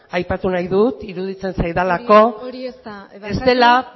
aipatu nahi dut iruditzen zaidalako ez dela